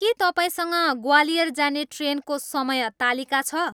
के तपाईँसँग ग्वालियर जाने ट्रेनको समय तालिका छ।